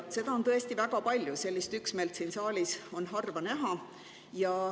Seda on tõesti väga palju, sellist üksmeelt on siin saalis harva näha.